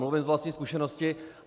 Mluvím z vlastní zkušenosti.